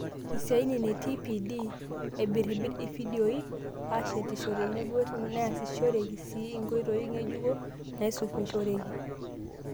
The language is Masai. Isiaitin te TPD : Aibirribirr ifidioi. Aashetisho tenebo neasishoreki sii nkoitooi ng'ejuko naisunmishoreki.